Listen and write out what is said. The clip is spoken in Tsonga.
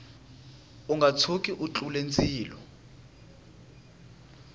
unga tshuki u tlule ndzilo